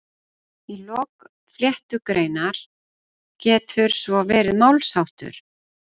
Í lok flettugreinar getur svo verið málsháttur